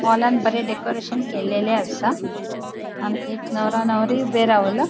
हॉलान बरे डेकोरैशन केल्लेले आसा आणि एक नवरों नवरी ऊबे रावला.